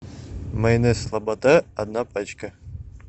майонез слобода одна пачка